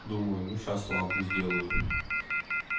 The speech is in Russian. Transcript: думаю ну сейчас слабую сделаю